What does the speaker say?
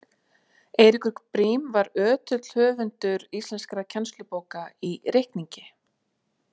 Eiríkur Briem var ötull höfundur íslenskra kennslubóka í reikningi.